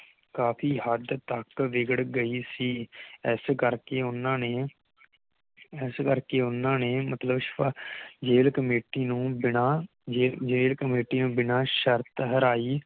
ਕਾਫੀ ਹੱਦ ਤਕ ਬਿਗੜ ਗਈ ਸੀ ਇਸ ਕਰਕੇ ਓਹਨਾ ਨੇ ਇਸ ਕਰਕੇ ਓਹਨਾ ਨੇ ਮਤਲਬ ਜੇਲ ਕਮੇਟੀ ਨੂੰ ਬਿਨਾ ਜੇਲ ਜੇਲ ਕਮੇਟੀ ਨੂੰ ਬਿਨਾ ਸ਼ਰਤ ਹਰਾਈ